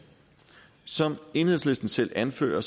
som enhedslisten selv anfører